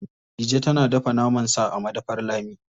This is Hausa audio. Dije tana dafa naman sa a madafar Lami.